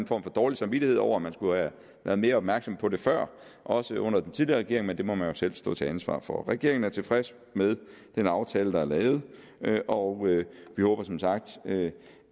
for dårlig samvittighed over at man skulle have været mere opmærksom på det før også under den tidligere regering men det må man jo selv stå til ansvar for regeringen er tilfreds med den aftale der er lavet og vi håber som sagt